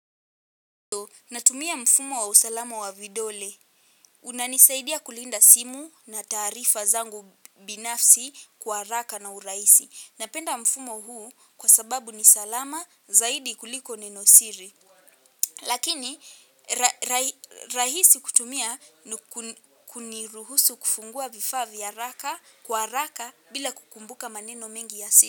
Natumia mfumo wa usalama wa vidole. Unanisaidia kulinda simu na taarifa zangu binafsi kwa haraka na urahisi. Napenda mfumo huu kwa sababu ni salama zaidi kuliko neno siri. Lakini rahisi kutumia kuniruhusu kufungua vifaa vya haraka kwa haraka bila kukumbuka maneno mengi ya siri.